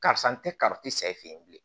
Karisa n tɛ ka tɛ sa e fɛ yen bilen